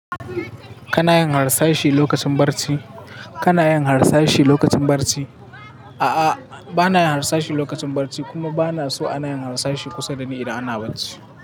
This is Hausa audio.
Kana yin harsashi lokacin barci? Kana yin harsashi lokacin barci? A'a, ba na yin harsashi lokacin barci, kuma ba na so ana yin harsashi kusa da ni idan ana barci.